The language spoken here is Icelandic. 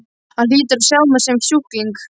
Hann hlýtur að sjá mig sem sjúkling.